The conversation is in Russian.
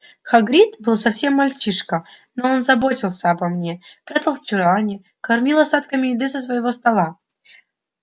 хагрид был совсем мальчишка но он заботился обо мне прятал в чулане кормил остатками еды со своего стола